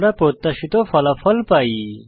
আমরা প্রত্যাশিত আউটপুট পাই